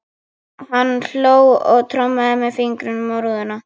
Hann hló og trommaði með fingrunum á rúðuna.